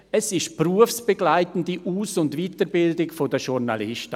Es ist eine berufsbegleitende Aus- und Weiterbildung der Journalisten.